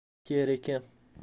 тереке